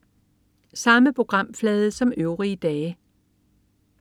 Samme programflade som øvrige dage